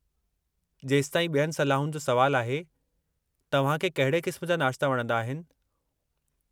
जेसिताईं ॿियनि सलाहुनि जो सुवालु आहे, तव्हां खे कहिड़े क़िस्म जा नाश्ता वणंदा आहिनि?